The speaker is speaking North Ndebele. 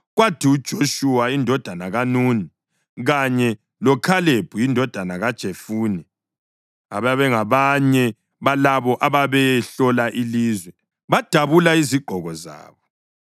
Kwathi uJoshuwa indodana kaNuni kanye loKhalebi indodana kaJefune, ababengabanye balabo ababeyehlola ilizwe, badabula izigqoko zabo